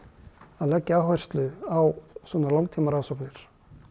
að leggja áherslu á svona langtímarannsóknir